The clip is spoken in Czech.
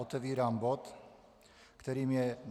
Otevírám bod, kterým je